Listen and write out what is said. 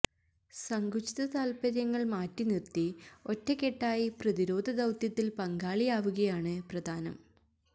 സങ്കുചിത താല്പര്യങ്ങള് മാറ്റി നിര്ത്തി ഒറ്റക്കെട്ടായി പ്രതിരോധ ദൌത്യത്തില് പങ്കാളിയാവുകയാണ് പ്രധാനം